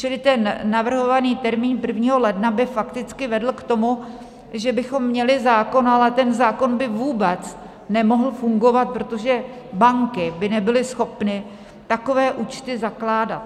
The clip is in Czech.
Čili ten navrhovaný termín 1. ledna by fakticky vedl k tomu, že bychom měli zákon, ale ten zákon by vůbec nemohl fungovat, protože banky by nebyly schopny takové účty zakládat.